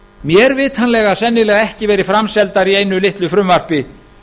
mér vitanlega sennilega ekki verið framseldar í einu litlu frumvarpi